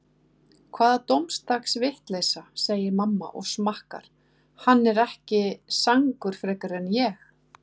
Hvaða dómadags vitleysa, segir mamma og smakkar, hann er ekki sangur frekar en ég.